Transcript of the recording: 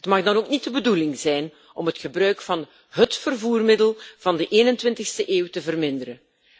Het mag dan ook niet de bedoeling zijn om het gebruik van hét vervoermiddel van de 21e eeuw te verminderen.